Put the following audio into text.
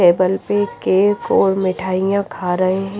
table पे cake और मिठाइयां खा रहे--